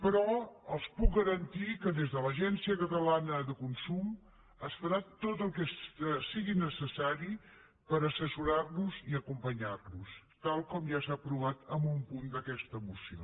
però els puc garantir que des de l’agència catalana de consum es farà tot el que sigui necessari per assessorar los i acompanyar los tal com ja s’ha aprovat en un punt d’aquesta moció